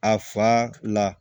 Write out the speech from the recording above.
A fa la